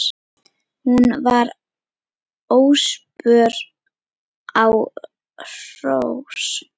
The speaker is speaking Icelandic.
Hún var óspör á hrós.